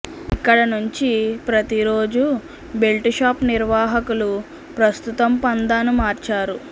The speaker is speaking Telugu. ఇక్కడ నుంచి ప్రతి రోజు బెల్టు షాపు నిర్వాహకులు ప్రస్తుతం పంథాను మార్చారు